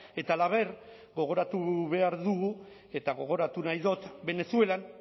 eta halaber gogoratu behar dugu eta gogoratu nahi dut venezuelan